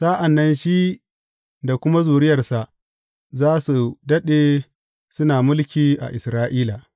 Sa’an nan shi da kuma zuriyarsa za su daɗe suna mulki a Isra’ila.